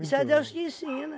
Isso é Deus que ensina.